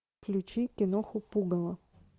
включи киноху пугало